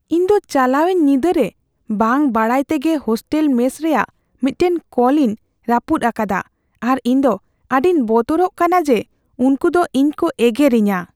ᱤᱧ ᱫᱚ ᱪᱟᱞᱟᱣᱮᱱ ᱧᱤᱫᱟᱹ ᱨᱮ ᱵᱟᱹᱝ ᱵᱟᱰᱟᱭ ᱛᱮᱜᱮ ᱦᱳᱥᱴᱮᱞ ᱢᱮᱥ ᱨᱮᱭᱟᱜ ᱢᱤᱫᱴᱟᱝ ᱠᱚᱞᱤᱧ ᱨᱟᱹᱯᱩᱫ ᱟᱠᱟᱫᱟ ᱟᱨ ᱤᱧ ᱫᱚ ᱟᱹᱰᱤᱧ ᱵᱚᱛᱚᱨᱚᱜ ᱠᱟᱱᱟ ᱡᱮ ᱩᱝᱠᱩ ᱫᱚ ᱤᱧ ᱠᱚ ᱮᱜᱮᱨᱤᱧᱟ ᱾